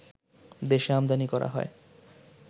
দেশে আমদানী করা হয়